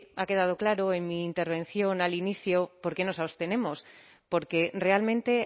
ha quedado claro en mi intervención al inicio por qué nos abstenemos porque realmente